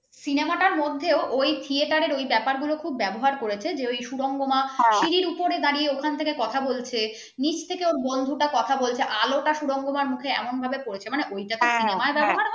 cinema টার মধ্যেও ওই theater র ওই ব্যাপারগুলো খুব ব্যবহার করেছে যে সুরঙ্গমা সিড়ির ওপরে দাঁড়িয়ে ওখান থেকে কথা বলছে নিচ থেকে ওর বন্ধুটা কথা বলছে আলোটা সুরঙ্গ আমার মুখে এমন ভাবে পড়ছে মানে ওইটা হ্যাঁ